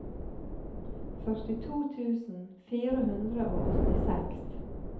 førtito tusen fire hundre og åttiseks